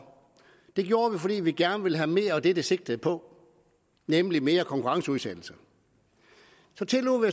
det gjorde vi fordi vi gerne ville have mere af det det sigtede på nemlig mere konkurrenceudsættelse så tillod